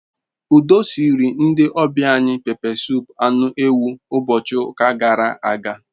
Udu siiri ndi obia anyi pepe sup anu ewu ubochi uka gara aga